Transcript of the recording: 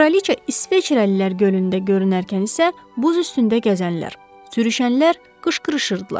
Kraliça isveçrəlilər gölündə görünərkən isə buz üstündə gəzənlər, sürüşənlər qışqırırdılar.